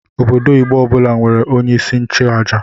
Obodo Igbo ọbụla nwere onye isi nchụaja.